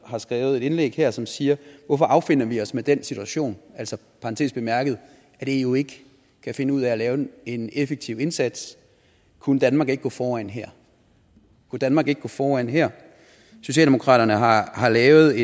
skrevet et indlæg her som siger hvorfor affinder vi os med den situation altså i parentes bemærket at eu ikke kan finde ud af at lave en effektiv indsats kunne danmark ikke gå foran her kunne danmark ikke gå foran her socialdemokraterne har har lavet